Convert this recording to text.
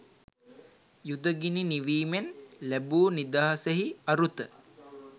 යුද ගිනි නිවීමෙන් ලැබූ නිදහසෙහි අරුත